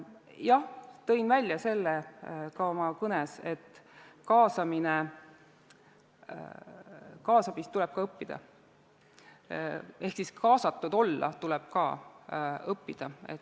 Jah, ma tõin välja ka oma kõnes, et kaasamist tuleb ka õppida ehk kaasatud olemist tuleb õppida.